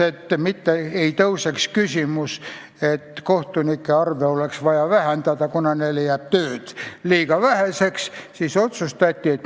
Ja seda tehti nimelt selleks, et ei tõuseks küsimus, ega kohtunike arvu poleks vaja vähendada, kuna neile jääb tööd liiga väheseks.